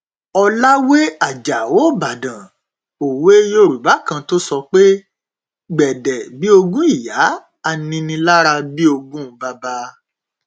ọlàwé ajáò ìbàdàn òwe yorùbá kan tó sọ pé gbédè bíi ogún ìyá aninilára bíi ogún bàbà